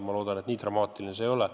Ma loodan, et nii dramaatiline olukord ei ole.